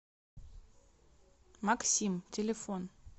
максим телефон